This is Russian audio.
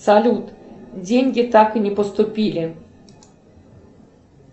салют деньги так и не поступили